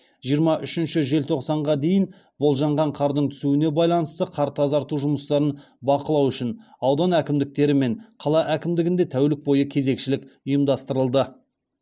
жиырма үшінші желтоқсанға дейін болжанған қардың түсуіне байланысты қар тазарту жұмыстарын бақылау үшін аудан әкімдіктері мен қала әкімдігінде тәулік бойы кезекшілік ұйымдастырылды